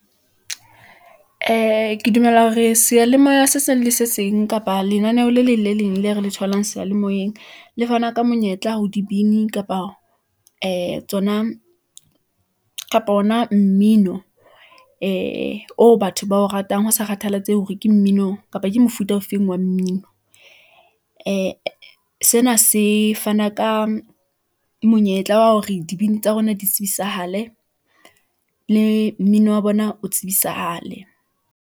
Ee, ke dumela hore seyalemoya se seng le se seng, kapa lenaneho le leng le leng le re le tholang seyalemoyeng . Le fana ka monyetla ho dibini kapa ee tsona kapa ona mmino , ee, oo batho bao ratang ho sa kgathalatsehe hore ke mmino, kapa ke mofuta ofeng wa mmino . Ee , sena se fana ka monyetla wa hore dibini tsa rona di tsebisahale , le mmino wa bona o tsebisahale.